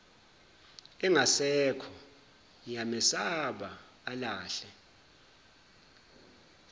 engasekho ngiyamesaba alahle